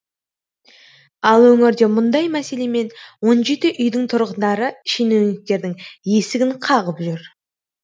ал өңірде мұндай мәселемен он жеті үйдің тұрғындары шенеуніктердің есігін қағып жүр